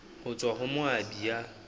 ho tswa ho moabi ya